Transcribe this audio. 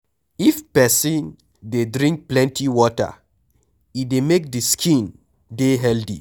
If person dey drink plenty water, e dey make di skin dey healthy